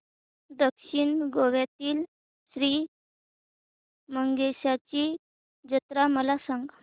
दक्षिण गोव्यातील श्री मंगेशाची जत्रा मला सांग